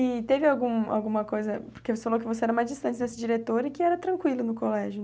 E teve algum alguma coisa, porque você falou que você era mais distante desse diretor e que era tranquilo no colégio